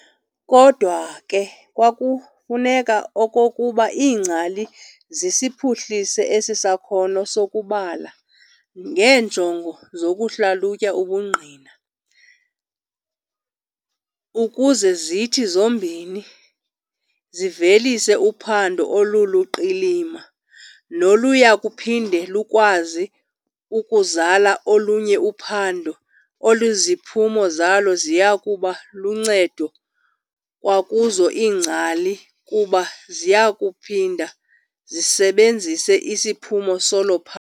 Kodwa ke kukwafuneka okokuba iingcali zisiphuhlise esi sakhono sokubala ngeenjongo zokuhlalutya ubungqine, ukuze zithi zombini, zivelise uphando oluluqilima noluyakuphinde lukwazi ukuzala olunye uphando oluziphumo zalo ziyakuba luncedo kwakuzo iingcali, kuba ziyakuphinda zisebenzise isiphumo salo.